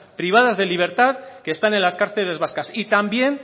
privadas de libertad que están en las cárceles vascas y también